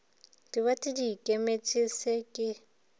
diwate di ikemetše se ke